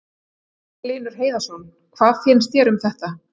Magnús Hlynur Hreiðarsson: Hvað finnst þér um þetta?